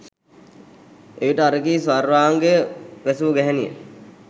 එවිට අර කී සර්වාංගය වැසූ ගැහැනිය